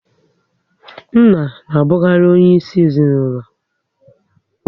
Nna na abukari onye isi ezinaụlọ